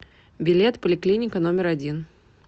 билет поликлиника номер один